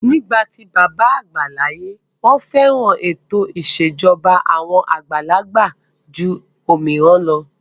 Nígbà tí bàbá àgbà láyé, wọ́n fẹ́ran ètò ìṣèjọba àwọn àgbàlagbà jù òmíràn lọ.